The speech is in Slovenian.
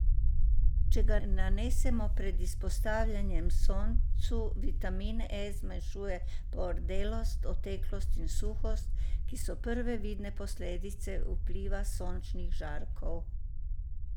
Če ga nanesemo pred izpostavljanjem soncu, vitamin E zmanjšuje pordelost, oteklost in suhost, ki so prve vidne posledice vpliva sončnih žarkov.